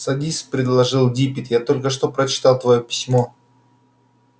садись предложил диппет я только что прочитал твоё письмо